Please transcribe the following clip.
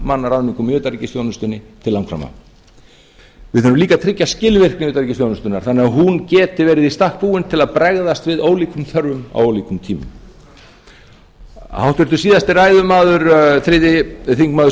mannaráðningum í utanríkisþjónustunni til langframa við þurfum líka að tryggja skilvirkni utanríkisþjónustunnar þannig að hún geti verið í stakk búin til að bregðast við ólíkum þörfum á ólíkum tímum háttvirtur síðasti ræðumaður þriðji þingmaður